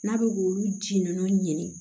N'a bɛ k'olu ji ninnu ɲini